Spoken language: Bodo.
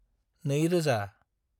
2000